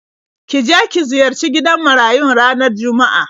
Ki je ki ziyarci gidan marayun ranar Juma'a.